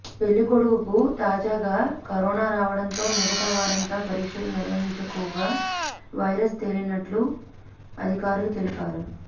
పెళ్లి కొడుకుకు తాజాగా కరోనా రావడంతో మిగతా వారంతా పరీక్షలు నిర్వహించుకోగా వైరస్ తేలినట్లు అధికారులు తెలిపారు